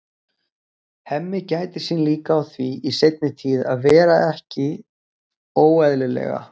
Hemmi gætir sín líka á því í seinni tíð að vera ekki óeðlilega